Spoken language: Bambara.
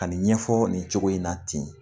Ka nin ɲɛfɔ nin cogo in na ten